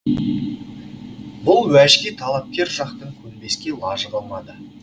бұл уәжге талапкер жақтың көнбеске лажы қалмады